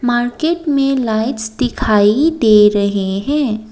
Market में lights दिखाई दे रहे हैं।